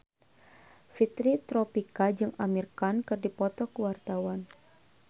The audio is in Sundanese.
Fitri Tropika jeung Amir Khan keur dipoto ku wartawan